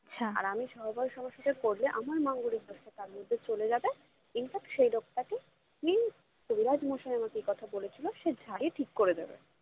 আর আমি সহবাস আমার সাথে করলে আমার মাঙ্গলিক দোষটা তার কাছে চলে যাবে infact সেই লোকটাকে কবিরাজ মশাই আমাকে কথা বলেছিলো যে সে ঝাড়িয়ে ঠিক করে দেবে